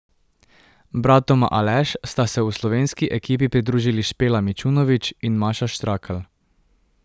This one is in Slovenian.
Bratoma Aleš sta se v slovenski ekipi pridružili Špela Mičunovič in Maša Štrakl.